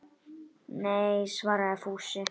Nei svaraði Fúsi.